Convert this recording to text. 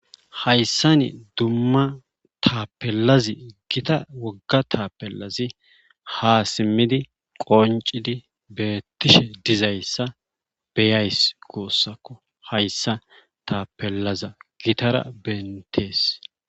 Hayssa ni dumma taapelazi gita wogga taapellazi ha simmidi qoncidi beettishe dizayssa beyays goussakko hayssa taapellaza gitara bentees.